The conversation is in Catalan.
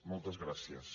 moltes gràcies